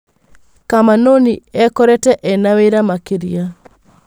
Kamanũnĩ ekorete ena wĩra makĩrĩa.